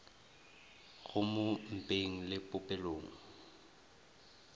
go mo mpeng le popelong